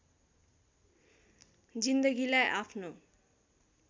जिन्दगीलाई आफ्नो